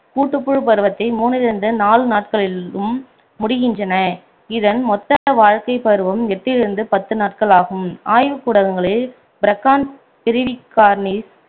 கூட்டுபுழு பருவத்தை மூன்றில் இருந்து நான்கு நாட்களிலும் முடிகின்றன இதன் மொத்த வாழ்க்கைப்பருவம் எட்டிலிருந்து பத்து நாட்கள் ஆகும் ஆய்வுக்க்கூடங்களில் பிரக்கான் பிரிவிகார்னிஸ்